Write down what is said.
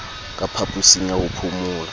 ka phaposing ya ho phomola